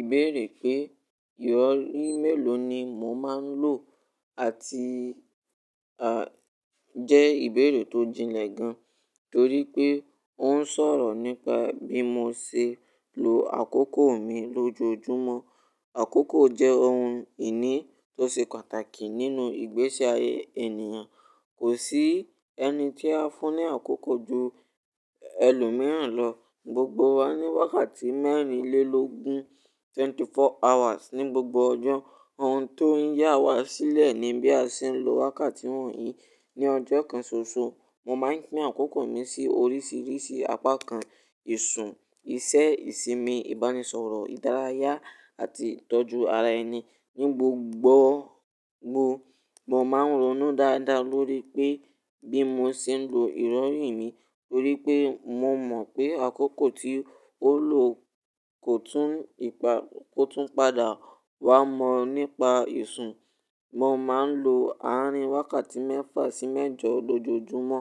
Ìbéèrè pé ìrọ̀rí mélòó ni mò máa ń lò àti à-- jẹ́ ìbéèrè tó jinlẹ̀ gan, torí pé ó ń sọ̀rọ̀ nípa bí mo ṣe lo àkókò mi lójoojúmọ́. Àkókò jẹ́ ohun ìní tó ṣe pàtàkì nínú ìgbésí ayé ènìyàn. Kò sí ẹni tí a fún ní àkókò ju ẹlòmíràn lọ. Gbogbo wa ní wákàtí mẹ́rin lé lógun, twenty four hours ní gbogbo ọjọ́. Ohun tó ń yá wa sílẹ̀ ni bí a ṣe ń lo wákàtí wọ̀nyí. Ni ọjọ́ kan ṣoṣo, mo máa ń pín àkókò mi sí oríṣiríṣi apákan: ìsun, isẹ́, ìsinmi, ìbánisọ̀rọ̀, ìdárayá àti ìtọ́jú ara ẹni. Ni gbogbo gbọ, mo máa ń ronú dáadáa lórí pé bí mo ṣe ń lo ìrọ̀rí mi, torí pé mo mọ̀ pé àkókò tí ó lọ kò tún ìpa-- kò tún padà. Wá mọ̀ nípa ìsun, mo máa ń lo àárín wákàtí mẹ́fà sí mẹ́jọ lójoojúmọ́.